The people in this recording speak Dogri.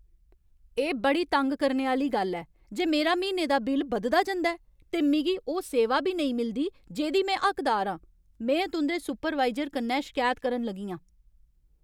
एह् बड़ी तंग करने आह्‌ली गल्ल ऐ जे मेरा म्हीने दा बिल बधदा जंदा ऐ, ते मिगी ओह् सेवा बी नेईं मिलदी जेह्दी में हकदार आं। में तुं'दे सुपरवाइजर कन्नै शिकायत करन लगी आं।